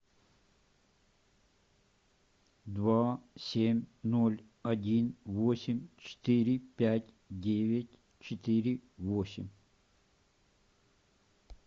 два семь ноль один восемь четыре пять девять четыре восемь